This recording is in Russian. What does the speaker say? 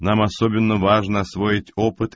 нам особенно важно освоить опыт